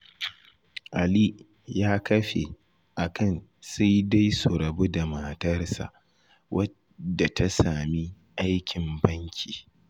Ali ya kafe akan sai dai su rabu da matarsa, wadda ta sami aikin banki.